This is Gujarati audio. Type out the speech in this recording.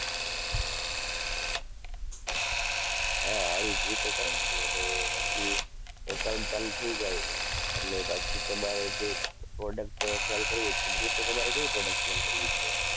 હા આવી જ રીતે કરવાનું અને પછી account ચાલુ થઈ જાય એટલે પછી તમારે જે product sell કરવી છે મતલબ કે તમારે કઈ product sell કરવી છે.